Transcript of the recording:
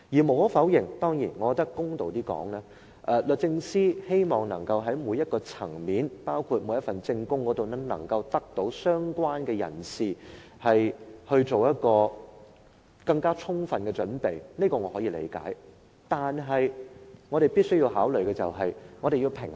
無可否認，公道一點說，律政司希望在每一個層面，包括每份證供都由相關人士作出更充分的準備，我是可以理解的。但是，我們必須考慮取得平衡。